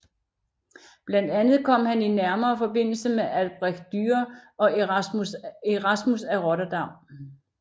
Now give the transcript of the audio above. Blandt andet kom han i nærmere forbindelse med Albrecht Dürer og Erasmus af Rotterdam